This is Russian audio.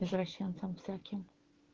извращенцем всяким